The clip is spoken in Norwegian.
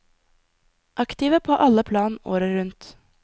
Aktive på alle plan året rundt.